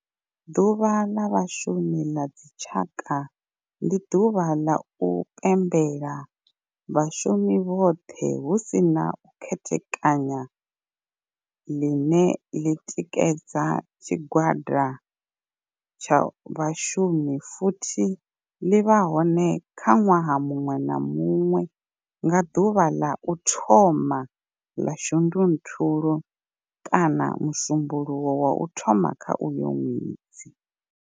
Ḓuvha la Vhashumi la dzi tshaka, ndi duvha ḽa u pembela vhashumi vhothe hu si na u khethekanya ḽine ḽi tikedzwa nga tshigwada tsha vhashumi futhi ḽi vha hone nwaha munwe na munwe nga duvha ḽa u thoma 1 ḽa Shundunthule kana musumbulowo wa u thoma kha uyo nwedzi.